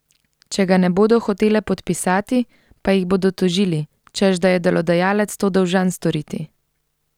Če ga ne bodo hotele podpisati, pa jih bodo tožili, češ da je delodajalec to dolžan storiti.